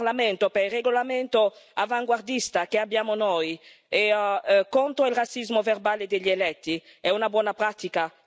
Devo però ringraziare questo Parlamento per il regolamento avanguardista che abbiamo contro il razzismo verbale degli eletti.